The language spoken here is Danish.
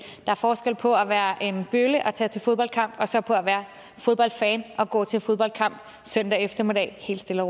er forskel på at være en bølle og tage til fodboldkamp og så på at være fodboldfan og gå til fodboldkamp søndag eftermiddag helt stille